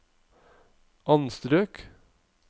anstrøk